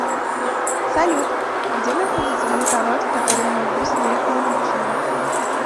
салют где находится банкомат в котором могу снять наличные